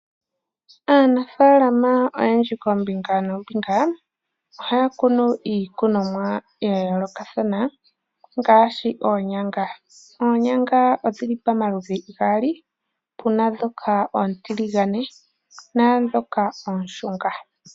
Aanafaalama oyendji kombinga noombinga ohaya kunu iikunomwa ya yoolokathana ngaashi oonyanga. Oonyanga odhili pomaludhi gaali opuna ndhoka oontiligane naandhoka oondjelele.